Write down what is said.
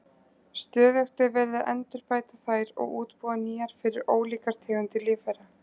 Stöðugt er verið að endurbæta þær og útbúa nýjar fyrir ólíkar tegundir lífvera.